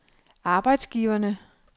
arbejdsgiverne